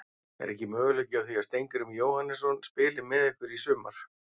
Er ekki möguleiki á því að Steingrímur Jóhannesson spili með ykkur í sumar?